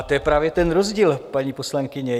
A to je právě ten rozdíl, paní poslankyně.